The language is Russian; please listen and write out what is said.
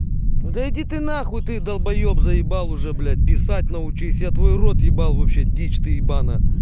да иди ты на хуй ты долбаеб заебал уже блять писать научись я твой рот ебал вообще дичь ты ебаная